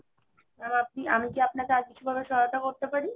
Mam আপনি আমি কি আপনাকে আর কিছু ভাবে সহায়তা করতে পারি?